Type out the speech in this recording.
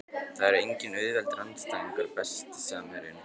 Það eru engir auðveldir andstæðingar Besti samherjinn?